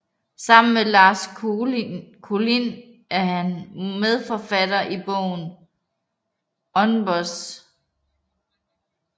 Sammen med Lars Kolind er han medforfatter til bogen UNBOSS